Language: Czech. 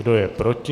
Kdo je proti?